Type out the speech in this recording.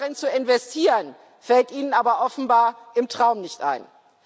Darin zu investieren, fällt Ihnen aber offenbar im Traum nicht ein.